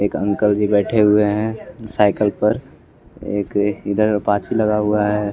एक अंकल जी बैठे हुए हैं साइकल पर एक इधर अपाची लगा हुआ है।